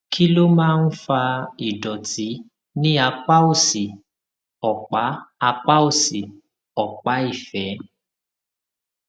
kí ló máa ń fa ìdòtí ní apá òsì òpá apá òsì òpá ìfé